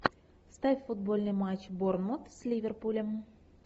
ставь футбольный матч борнмут с ливерпулем